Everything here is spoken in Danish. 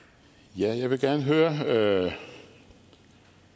ja med